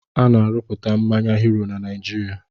Ana-arụpụta mmanya "Hero" na Naijiria